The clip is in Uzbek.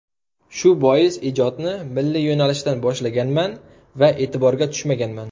Shu bois ijodni milliy yo‘nalishdan boshlaganman va e’tiborga tushmaganman.